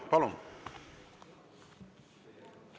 Palun!